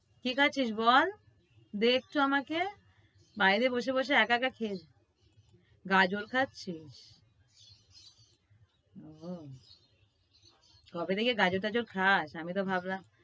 কি খাচ্ছিস বল? দে একটু আমাকে? বাইরে বসে বসে একা একা খেয়ে~ গাঁজর খাচ্ছিস? ওহ। কবে থেকে গাঁজর টাজর খাস? আমি তো ভাবলাম